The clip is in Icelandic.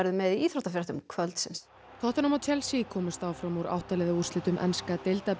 með íþróttafréttir kvöldsins tottenham og Chelsea komust áfram úr átta liða úrslitum enska